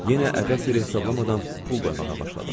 Yenə əbəs yerə hesablamadan pul qoymağa başladım.